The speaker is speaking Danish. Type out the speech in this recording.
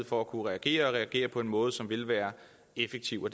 for at kunne reagere og reagere på en måde som vil være effektiv og